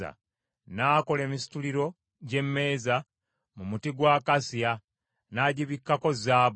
N’akola emisituliro gy’emmeeza mu muti gwa akasiya, n’agibikkako zaabu.